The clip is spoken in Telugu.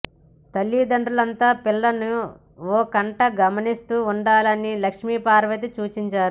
తల్లిదండ్రులంతా పిల్లలను ఓ కంట గమనిస్తూ ఉండాలని లక్ష్మీపార్వతి సూచించారు